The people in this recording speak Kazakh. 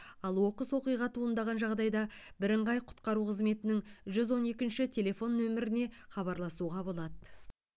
ал оқыс оқиға туындаған жағдайда бірыңғай құтқару қызметінің жүз он екінші телефон нөміріне хабарласуға болады